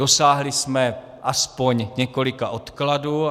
Dosáhli jsme aspoň několika odkladů.